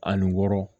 Ani wɔɔrɔ